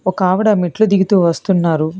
ఒక ఆవిడ మెట్లు దిగుతూ వస్తున్నారు.